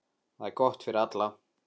Það er gott fyrir alla.